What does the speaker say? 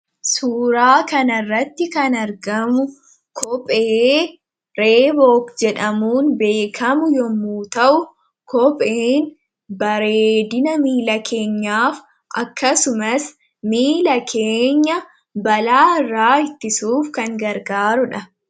suuraa kan arratti kan argamu koophee reebook jedhamuun beekamu yommuu, ta'u koopheen bareedina miila keenyaaf akkasumas miila keenya balaa irraa ittisuuf kan gargaaruudha.